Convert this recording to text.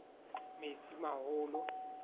metsimaholo